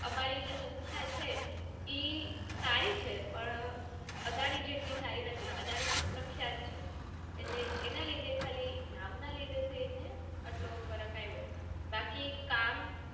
અમારી જે સંસ્થા છે ઈ સારી છે પણ અદાણી જેટલી સારી નથી. અદાણી ખુબ પ્રખ્યાત છે એટલે એના લીધે ખાલી નામ ના લીધે ફરક આવ્યો બાકી કામ